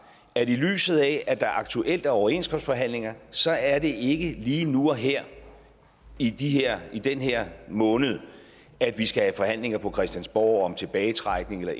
at i lyset af at der aktuelt er overenskomstforhandlinger så er det ikke lige nu og her i her i den her måned at vi skal have forhandlinger på christiansborg om tilbagetrækning eller